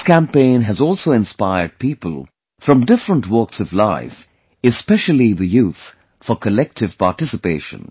This campaign has also inspired people from different walks of life, especially the youth, for collective participation